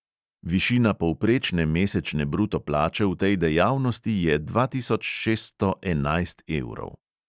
Višina povprečne mesečne bruto plače v tej dejavnosti je dva tisoč šeststo enajst evrov.